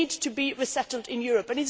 people. They need to be resettled in